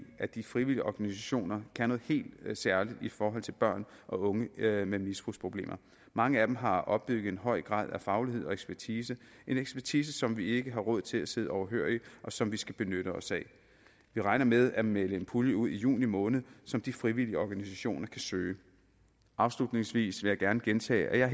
at de frivillige organisationer kan noget helt særligt i forhold til børn og unge med med misbrugsproblemer mange af dem har opbygget en høj faglighed og ekspertise en ekspertise som vi ikke har råd til at sidde overhørig og som vi skal benytte os af vi regner med at melde en pulje ud i juni måned som de frivillige organisationer kan søge afslutningsvis vil jeg gerne gentage at jeg